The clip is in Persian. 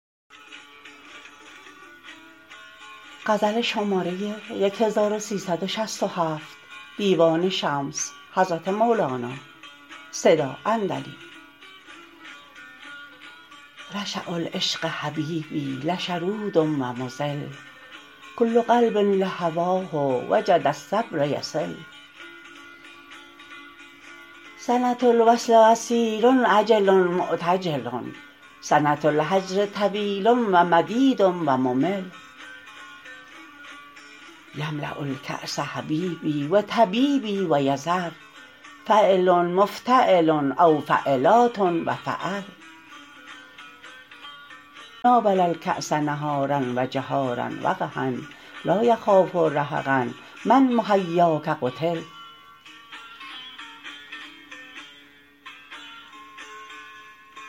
رشاء العشق حبیبی لشرود و مضل کل قلب لهواه وجد الصبر یصل سنه الوصل قصیر عجل معتجل سنه الهجر طویل و مدید و ممل یملاء الکاس حبیبی و طبیبی و تذر فعلن مفتعلن او فعلاتن و فعل ناول الکاس نهارا و جهارا و قحا لا یخاف رهقا من بمحیاک قتل